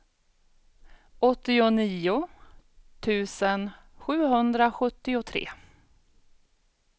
åttionio tusen sjuhundrasjuttiotre